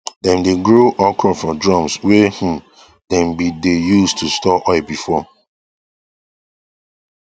dem dae grow okra for drums wae um dem been dae use to store oil before